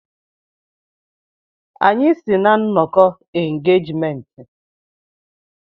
Anyị si na nnọkọ engejmenntị.